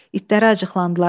İtlərə acıqlandılar.